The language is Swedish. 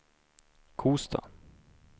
Kosta